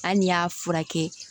An ni y'a furakɛ